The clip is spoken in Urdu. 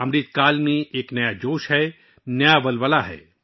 امرتکال میں ایک نیا جوش و خروش ہے، ایک نئی لہر ہے